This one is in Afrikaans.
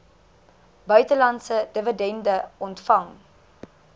buitelandse dividende ontvang